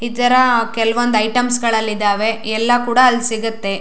ಇತರ ಕೆಲಒಂದು ಐಟಮ್ಸ್ ಗಳಲ್ಲಿ ಇದಾವೆ ಎಲ್ಲಾ ಕೂಡ ಅಲ್ಲಿ ಸಿಗುತ್ತೆ.